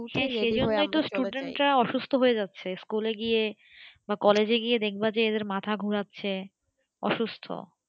হ্যাঁ সেই জন্যেই তো student রা অসুস্থ হয়ে যাচ্ছে school এ গিয়ে বা college এ গিয়ে এদের মাথা গড়াচ্ছে অসুস্থ